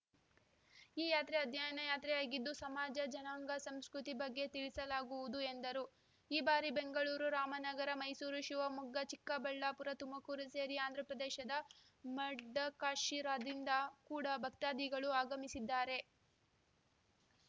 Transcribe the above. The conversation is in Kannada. ಈ ಯಾತ್ರೆ ಅಧ್ಯಯನ ಯಾತ್ರೆಯಾಗಿದ್ದು ಸಮಾಜ ಜನಾಂಗ ಸಂಸ್ಕೃತಿ ಬಗ್ಗೆ ತಿಳಿಸಲಾಗುವುದು ಎಂದರು ಈ ಬಾರಿ ಬೆಂಗಳೂರು ರಾಮನಗರ ಮೈಸೂರು ಶಿವಮೊಗ್ಗ ಚಿಕ್ಕಬಳ್ಳಾಪುರ ತುಮಕೂರು ಸೇರಿ ಆಂಧ್ರಪ್ರದೇಶದ ಮಡಕ ಶಿರಾ ದಿಂದ ಕೂಡ ಭಕ್ತಾಧಿಗಳು ಆಗಮಿಸಿದ್ದಾರೆ